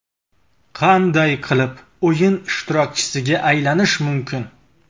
Qanday qilib o‘yin ishtirokchisiga aylanish mumkin?